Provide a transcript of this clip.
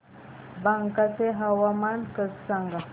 बांका चे हवामान सांगा